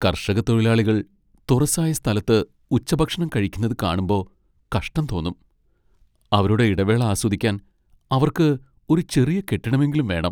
കർഷക തൊഴിലാളികൾ തുറസായ സ്ഥലത്ത് ഉച്ചഭക്ഷണം കഴിക്കുന്നത് കാണുമ്പൊ കഷ്ടം തോന്നും . അവരുടെ ഇടവേള ആസ്വദിക്കാൻ അവർക്ക് ഒരു ചെറിയ കെട്ടിടമെങ്കിലും വേണം.